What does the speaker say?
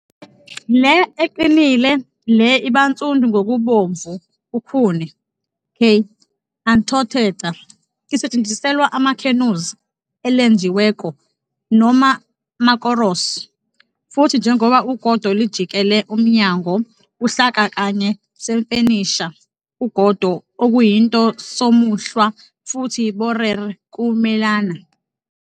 Le eqinile le iba nsundu ngokubomvu ukhuni "K. anthotheca" isetshenziselwa canoes elenjiweko noma makoros futhi njengoba ugodo jikelele, umnyango Uhlaka kanye semfenisha ugodo okuyinto somuhlwa futhi borer ukumelana.